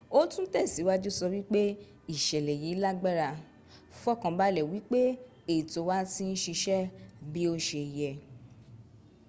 ó tún tẹ̀síwájú sọ wípé ìṣẹ̀lẹ̀ yìí lágbára. fọkànbalẹ̀ wípé ètò wa ti ń síṣẹ́ bí ó se y.